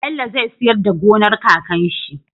Bello zai siyar da gonar kakan shi